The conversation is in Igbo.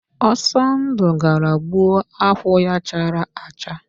Ọsọndụ gara gbuo akwụ ya chara acha.